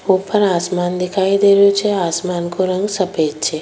ऊपर आसमान दिखाई दे रेहो छे आसमान को रंग सफ़ेद छे।